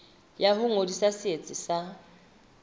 ya ho ngodisa setsi sa